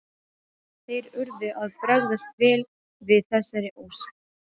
Innskotin eru greind í nokkra flokka eftir stærð og lögun.